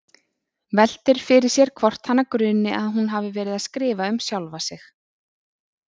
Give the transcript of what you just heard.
Veltir fyrir sér hvort hana gruni að hún hafi verið að skrifa um sjálfa sig.